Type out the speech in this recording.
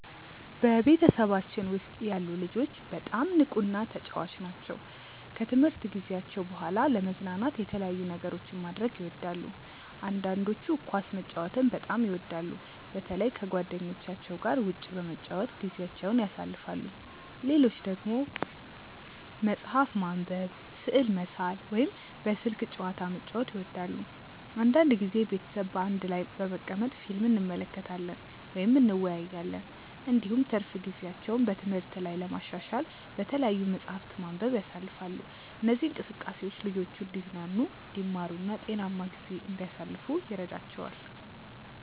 በቤተሰባችን ውስጥ ያሉ ልጆች በጣም ንቁና ተጫዋች ናቸው። ከትምህርት ጊዜያቸው በኋላ ለመዝናናት የተለያዩ ነገሮችን ማድረግ ይወዳሉ። አንዳንዶቹ ኳስ መጫወትን በጣም ይወዳሉ፣ በተለይ ከጓደኞቻቸው ጋር ውጭ በመጫወት ጊዜያቸውን ያሳልፋሉ። ሌሎች ደግሞ መጽሐፍ ማንበብ፣ ስዕል መሳል ወይም በስልክ ጨዋታ መጫወት ይወዳሉ። አንዳንድ ጊዜ ቤተሰብ በአንድ ላይ በመቀመጥ ፊልም እንመለከታለን ወይም እንወያያለን። እንዲሁም ትርፍ ጊዜያቸውን በትምህርት ላይ ለማሻሻል በተለያዩ መጻሕፍት ማንበብ ያሳልፋሉ። እነዚህ እንቅስቃሴዎች ልጆቹ እንዲዝናኑ፣ እንዲማሩ እና ጤናማ ጊዜ እንዲያሳልፉ ይረዳቸዋል።